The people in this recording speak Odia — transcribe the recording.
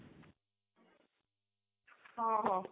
ହଁ ହଁ